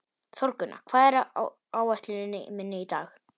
Þórgunna, hvað er á áætluninni minni í dag?